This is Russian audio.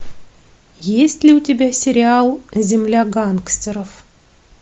есть ли у тебя сериал земля гангстеров